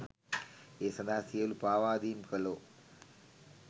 ඒ සදහා සියලු පාවාදීම් කළෝ